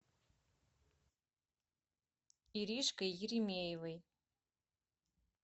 иришкой еремеевой